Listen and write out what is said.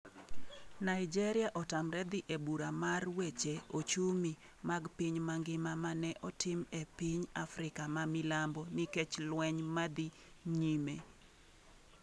Naijeria otamre dhi e bura mar weche ochumi mag piny mangima mane otim e piny Afrika ma milambo nikech lweny ma dhi nyime.